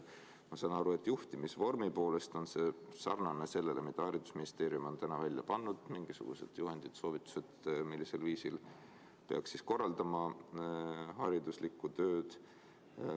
Ma saan aru, et juhtimisvormi poolest on see sarnane sellega, mille haridusministeerium on täna välja pannud: mingisugused juhendid-soovitused, millisel viisil peaks korraldama hariduslikku tööd.